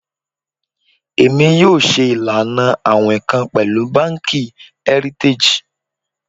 Emi yoo ṣe ilana awin kan pẹlu banki Heritage